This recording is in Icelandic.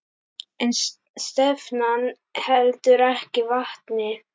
En stefnan heldur ekki vatni.